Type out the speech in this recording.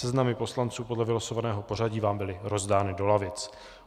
Seznamy poslanců podle vylosovaného pořadí vám byly rozdány do lavic.